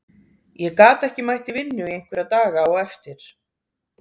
Ég gat ekki mætt í vinnu í einhverja daga á eftir.